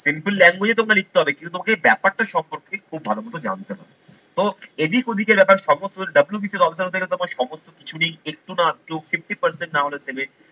simple language এ তোমরা লিখতে হবে কিন্তু তোমাকে ব্যাপারটা সম্পর্কে খুব ভালোমতো জানতে হবে। এদিক ওদিকে লেখার সমস্ত WBCL officer সমস্ত কিছু নেই একটু না চোখ fifty percent না হলে দেবে